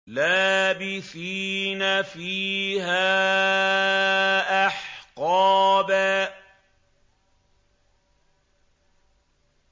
لَّابِثِينَ فِيهَا أَحْقَابًا